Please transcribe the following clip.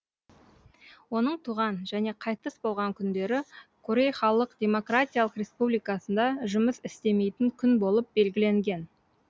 оның туған және қайтыс болған күндері корей халық демократиялық республикасында жұмыс істемейтін күн болып белгіленген